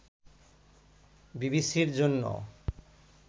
বিবিসি’র জন্য